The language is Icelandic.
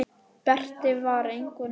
Berti var engu nær.